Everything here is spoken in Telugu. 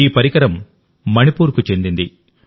ఈ పరికరం మణిపూర్కు చెందింది